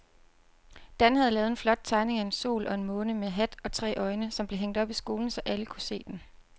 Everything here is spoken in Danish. Dan havde lavet en flot tegning af en sol og en måne med hat og tre øjne, som blev hængt op i skolen, så alle kunne se den.